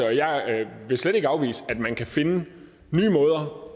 og jeg vil slet ikke afvise at man kan finde nye måder